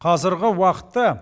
қазіргі уақытта